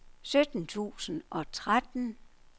sytten tusind og tretten